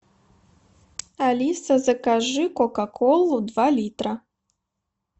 алиса закажи кока колу два литра